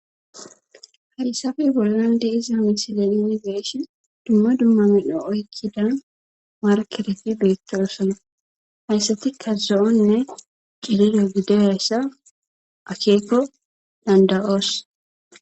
Haysaappe bollan de iza amisilelini beeshe dumma dumma midho oykkida markerefi beettoosona hayssatikka zo7onne cilire gideberayssa akeeko danda7oos.